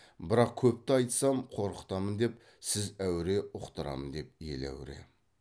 бірақ көпті айтсам қорқытамын деп сіз әуре ұқтырам деп ел әуре